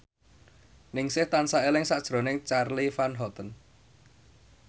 Ningsih tansah eling sakjroning Charly Van Houten